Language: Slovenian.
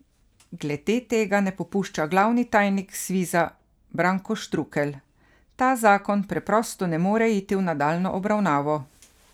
Glede tega ne popušča glavni tajnik Sviza Branko Štrukelj: 'Ta zakon preprosto ne more iti v nadaljnjo obravnavo.